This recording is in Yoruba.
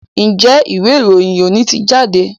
Njé Ìwé-ìròyìn òní tí jáde?